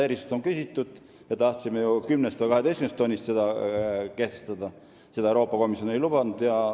Erisust on küsitud, me tahtsime seda ju kehtestada 10 või 12 tonnist, aga Euroopa Komisjon ei lubanud.